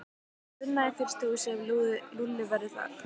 Ég fer að vinna í frystihúsi ef Lúlli verður þar.